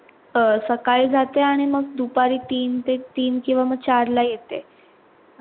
अं सकाळी जाते आणि मग दुपारी तीन ते तीन किव्वा म चार ला येते.